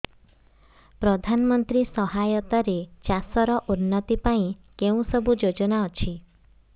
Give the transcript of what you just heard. ପ୍ରଧାନମନ୍ତ୍ରୀ ସହାୟତା ରେ ଚାଷ ର ଉନ୍ନତି ପାଇଁ କେଉଁ ସବୁ ଯୋଜନା ଅଛି